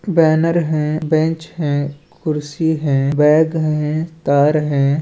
Banner हैं bench हैं कुर्सी हैं बैग हैं तार हैं।